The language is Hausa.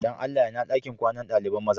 Dan Allah, ina dakin kwanan dalibain maza?